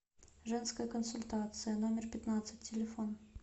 женская консультация номер пятнадцать телефон